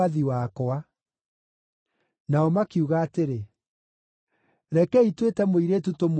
Nao makiuga atĩrĩ, “Rekei twĩte mũirĩtu tũmũũrie ũhoro ũcio.”